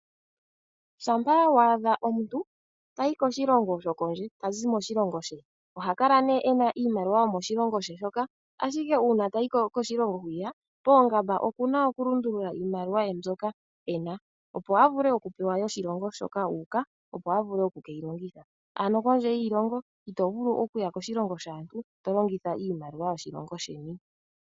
Shampa waadha omuntu tayi koshilongo shokondje, tazi moshilongo she! oha kala nee ena iimaliwa yo moshilongo she shoka. Ashike uuna ta yi koshilongo whiya poongamba oku na okulundula iimaliwa ye mbyoka ena opo avule okupewa yoshilongo shoka uuka, opo avule oku ke yi longitha, ano kondje yiilongo, ito vulu okuya koshilongo shaantu, tolongitha iimaliwa yoshilongo sheni.